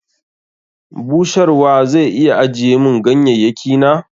Busharwa zai iya ajiye mun ganyayyaki na?